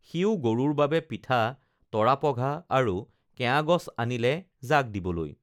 সিও গৰুৰ বাবে পিঠা তৰাপঘা আৰু কেয়াগছ আনিলে জাক দিবলৈ